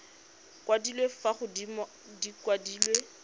kwadilwe fa godimo di kwadilwe